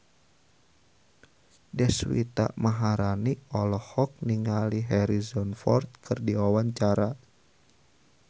Deswita Maharani olohok ningali Harrison Ford keur diwawancara